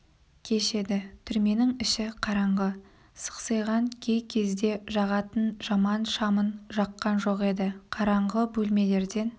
кеш еді түрменің іші қараңғы сықсиған кей кезде жағатын жаман шамын жаққан жоқ еді қараңғы бөлмелерден